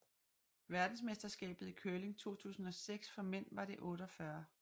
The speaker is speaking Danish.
Verdensmesterskabet i curling 2006 for mænd var det 48